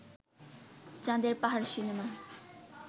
চাঁদের পাহাড় সিনেমা